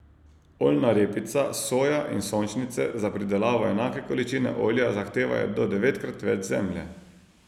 Oljna repica, soja in sončnice za pridelavo enake količine olja zahtevajo do devetkrat več zemlje.